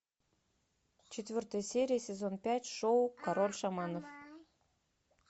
четвертая серия сезон пять шоу король шаманов